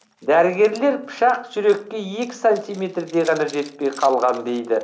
дәрігерлер пышақ жүрекке екі сантиметрдей ғана жетпей қалған дейді